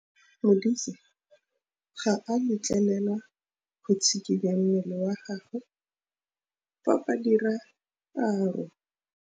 Modise ga a letlelelwa go tshikinya mmele wa gagwe fa ba dira karô.